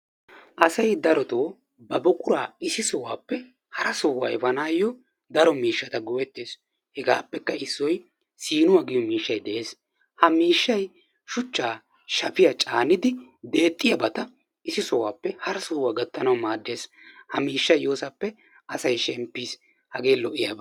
Asay darotoo ba buquraa issi sohuwappe hara sohuwa efaanaayyo daro miishshata go'ettees. Hegaappekka issoy siinuwa giyo miishshay de'ees. Ha miishshay shuchchaa, shafiya caanidi deexxiyabata issi sohuwappe hara sohuwa gattanawu maaddees. Ha miishshay yoosappe asay shemppiis. Hagee lo'iyaba.